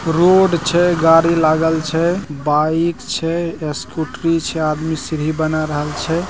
Road छै गाड़ी लागल छै बाइक छैस्कूटी छै सीढ़ी बनाय रहल छै।